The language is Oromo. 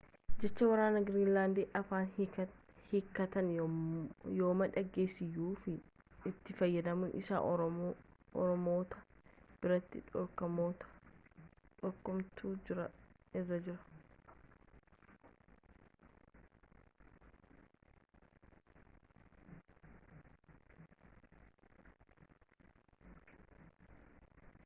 jecha warreen giriinlaandiin afaan hiikkatanii yooma dhageesseyyuu itti fayyadamni isaa ormoota biratti dhorkamuutu irra jira